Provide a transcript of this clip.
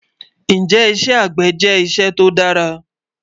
Njẹ́ ìṣẹ́ agbẹ̀ jẹ́ ìṣẹ̀ tó dàrà?